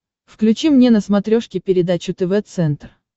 включи мне на смотрешке передачу тв центр